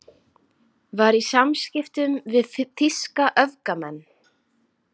Var í samskiptum við þýska öfgamenn